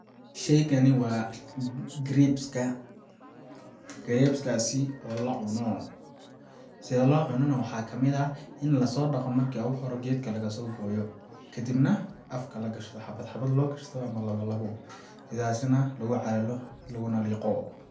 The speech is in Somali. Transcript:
Sheygani waa grapes ka, grapes kaasi oo la cuno .Sida loo cuno na waxaa kamid ah in lasoo dhaqo marka ugu hore geedka lagasoo gooyo ,kadibna afka la gashto xabad xabad loo gashto ama lawa lawo sidaasi nah lagu calalo laguna liqo.